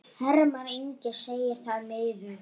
Hermann Ingi segir það miður.